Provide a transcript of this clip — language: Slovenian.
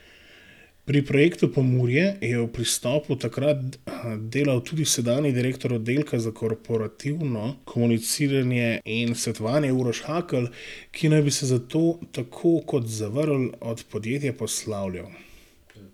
Pri projektu Pomurje je v Pristopu takrat delal tudi sedanji direktor oddelka za korporativno komuniciranje in svetovanje Uroš Hakl, ki naj bi se zato tako kot Zavrl od podjetja poslavljal.